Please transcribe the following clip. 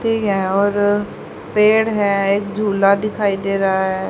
है और पेड़ है एक झूला दिखाई दे रहा है।